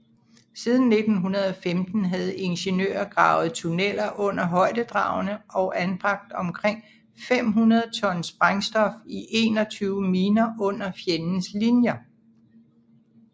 Siden 1915 havde ingeniører gravet tunneller under højdedragene og anbragt omkring 500 ton sprængstof i 21 miner under fjendens linjer